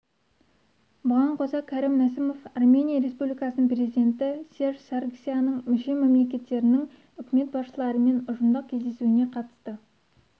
бұған қоса кәрім мәсімов армения республикасының президенті серж саргсяннің мүше мемлекеттерінің үкімет басшыларымен ұжымдық кездесуіне қатысты